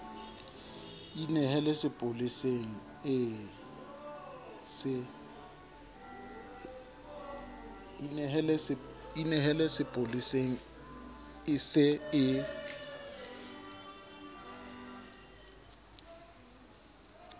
inehele sepoleseng e se e